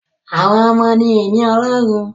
Àwọn ọmọ ni ìní Ọlọ́run